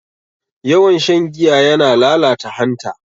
Yawan shan giya yana lalata hanta.